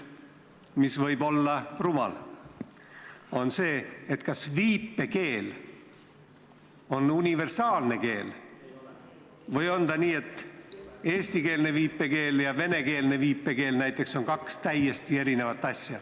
... mis võib olla rumal, on see, kas viipekeel on universaalne keel või on nii, et eestikeelne viipekeel ja venekeelne viipekeel on näiteks kaks täiesti eri asja.